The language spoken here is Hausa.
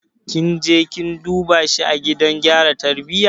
Kin je kin duba shi a gidan gyara tarbiyya?